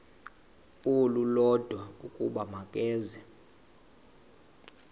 olulodwa ukuba makeze